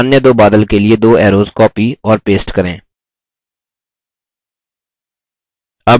अब अन्य दो बादल के लिए दो arrows copy और paste करें